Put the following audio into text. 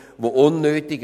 Catherine Graf Lutz (f)